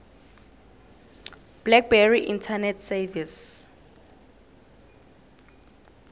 blackberry internet service